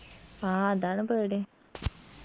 ആ അതാണ് പേടി